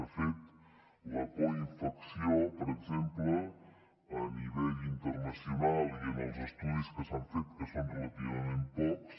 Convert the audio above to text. de fet la coinfecció per exemple a nivell internacional i en els estudis que s’han fet que són relativament pocs